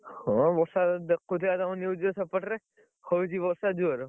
ହଁ ବର୍ଷା ଦେଖାଉଥିଲା ତମ news ରେ ସେପଟରେ ହଉଛି ବର୍ଷା ଜୋର,